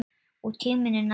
Og tíminn er nægur.